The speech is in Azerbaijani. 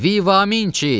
Vivaminçi!